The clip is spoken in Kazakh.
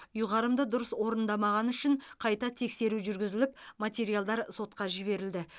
ұйғарымды дұрыс орындамағаны үшін қайта тексеру жүргізіліп материалдар сотқа жіберілді